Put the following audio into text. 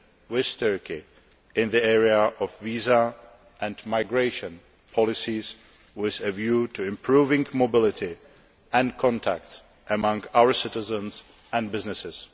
with Turkey in the area of visa and migration policies, with a view to improving mobility and contacts amongst our citizens and businesses.